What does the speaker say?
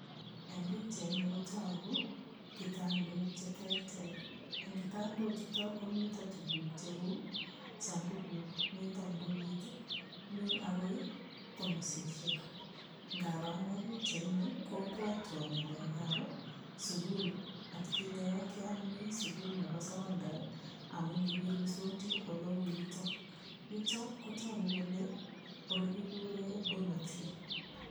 Eng' pikchaini kotuku kitandok cheterter eng' kitandochuto komito tukuk cheu sandukut mito ndoit mi akoi tomosishek ngaro ane pikchaini kobwotwo ng'alekab sukul atkinye yo kimi sukul nebo sokondar amun kikiruisoti ole uu yuto yuto kotoku kole ole kikure domitory